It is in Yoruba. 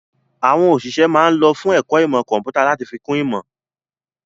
Àwọn òṣìṣẹ́ ma ń lọ fún ẹ̀kọ́ ìmọ̀ kọ̀ḿpútà láti fi ìmọ̀ kún ìmọ̀